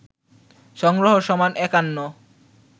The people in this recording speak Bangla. সংগ্রহ সমান ৫১